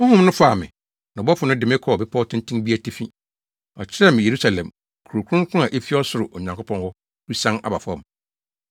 Honhom no faa me, na ɔbɔfo no de me kɔɔ bepɔw tenten bi atifi. Ɔkyerɛɛ me Yerusalem, Kurow Kronkron a efi ɔsoro, Onyankopɔn hɔ, resian aba fam.